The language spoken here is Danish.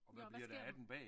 Ja og hvad sker den?